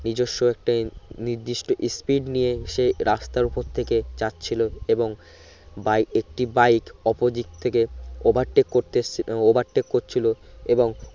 নিজেস্ব একটি নিদিষ্ট speed নিয়ে সেই রাস্তা উপর থেকে যাচ্ছিলো এবং বাইক একটি বাইক opposite থেকে overtake করতে এস overtake করছিলো এবং